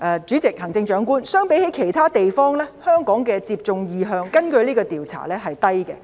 主席，根據這項調查，相比其他地方，香港市民的接種意向是低的。